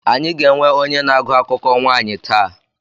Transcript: Anyị ga-enwe onye na-agụ akụkọ nwaanyị taa.